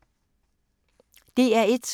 DR1